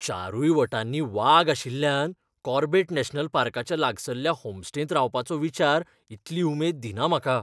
चारूय वटांनी वाग आशिल्ल्यान कॉर्बेट नॅशनल पार्काच्या लागसल्ल्या होमस्टेंत रावपाचो विचार इतली उमेद दिना म्हाका.